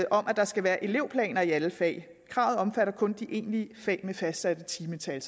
at der skal være elevplaner i alle fag kravet omfatter kun de egentlige fag med fastsatte timetal